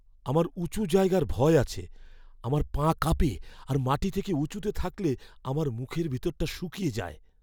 আমার উঁচু জায়গার ভয় আছে। আমার পা কাঁপে আর মাটি থেকে উঁচুতে থাকলে আমার মুখের ভিতরটা শুকিয়ে যায়।